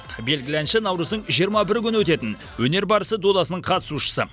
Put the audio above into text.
белгілі әнші наурыздың жиырма бірі күні өтетін өнер барысы додасының қатысушысы